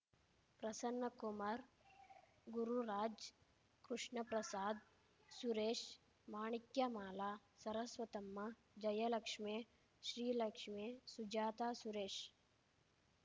Prasannakumar Gururaj Krishnaprasad Suresh Manikyamala Saraswatamma Jayalakshme Srilakshme Sujatha Suresh